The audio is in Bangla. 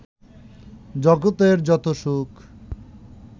জগতের যত সুখ